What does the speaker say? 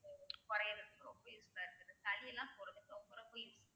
குறையறதுக்கு ரொம்ப useful ஆ இருக்கு சளி எல்லாம் ரொம்ப ரொம்ப useful ஆ